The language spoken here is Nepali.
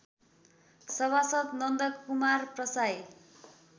सभासद् नन्दकुमार प्रसाईँ